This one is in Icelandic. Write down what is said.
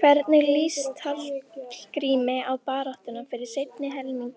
Hvernig lýst Hallgrími á baráttuna fyrir seinni helming